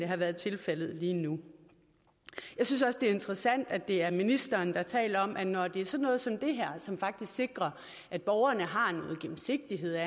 har været tilfældet lige nu jeg synes også det er interessant at det er ministeren der taler om at når det er sådan noget som det her som faktisk sikrer at borgerne har